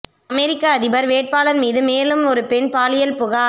அமெரிக்க அதிபர் வேட்பாளர் மீது மேலும் ஒரு பெண் பாலியல் புகார்